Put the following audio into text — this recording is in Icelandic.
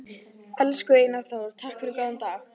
Elsku Einar Þór, takk fyrir góðan dag.